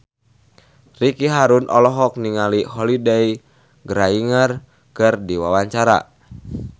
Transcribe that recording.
Ricky Harun olohok ningali Holliday Grainger keur diwawancara